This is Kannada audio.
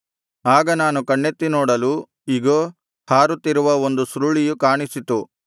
ಆಗ ನಾನು ಕಣ್ಣೆತ್ತಿ ನೋಡಲು ಇಗೋ ಹಾರುತ್ತಿರುವ ಒಂದು ಸುರುಳಿಯು ಕಾಣಿಸಿತು